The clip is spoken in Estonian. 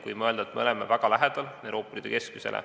Võime öelda, et me oleme väga lähedal Euroopa Liidu keskmisele.